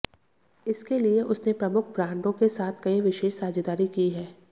इसके लिए उसने प्रमुख ब्रांडों के साथ कई विशेष साझेदारी की है